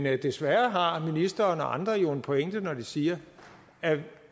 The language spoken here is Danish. at desværre har ministeren og andre en pointe når de siger at